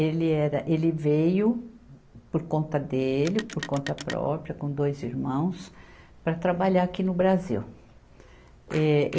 Ele era, ele veio por conta dele, por conta própria, com dois irmãos, para trabalhar aqui no Brasil. eh